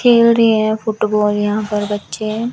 खेल रहें हैं फुटबॉल यहां पर बच्चे हैं।